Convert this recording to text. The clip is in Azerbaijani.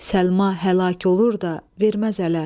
Səlma həlak olur da verməz ələ.